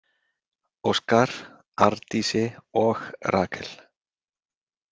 Óskar, Arndísi og Rakel?